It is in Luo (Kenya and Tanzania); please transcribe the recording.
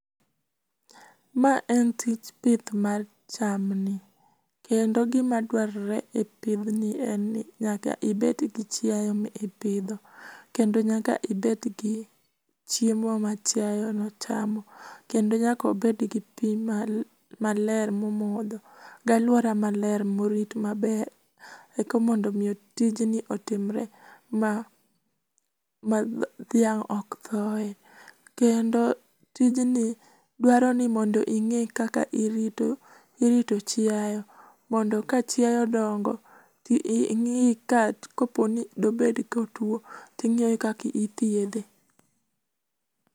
Ma en tich pith mar chamni kendo gima dwarore e pidh ni en ni nyaka ibed gi chiaye ma ipidho kendo nyaka ibed gi chiemo ma chiaye no chamo kendo nyaka obed gi pii maler momodho gi aluora maler morit maber eka mondo miyo tijni otimre ma dhiang ok thoye kendo tijni dwaro ni mondo inge kaka irito ,irito chiayo mondo ka chiaye odongo to ingi ka dobedni otuo ingiyo kaka ithiedhe